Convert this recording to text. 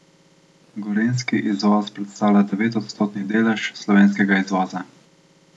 Gorenjski izvoz predstavlja devetodstotni delež slovenskega izvoza.